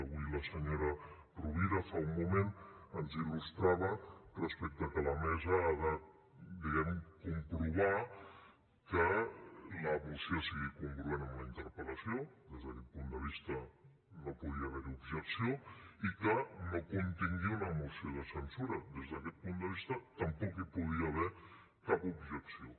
avui la senyora rovira fa un moment ens il·lustrava respecte al fet que la mesa ha de diguem ne comprovar que la moció sigui congruent amb la interpel·lació des d’aquest punt de vista no podia haver hi objecció i que no contingui una moció de censura des d’aquest punt de vista tampoc hi podia haver cap objecció